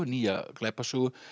nýja glæpasögu